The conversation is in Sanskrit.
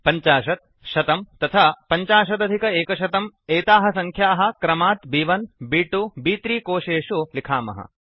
50100 तथा 150 एताः संख्याः क्रमात् ब्1 ब्2 ब्3 कोशेषु लिखामः